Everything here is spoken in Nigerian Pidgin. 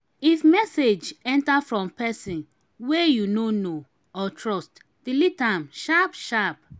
if message enter from person wey you no know or trust delete am sharp sharp